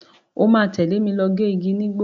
O máa tẹ̀lé mi lọ gé igi nígbó.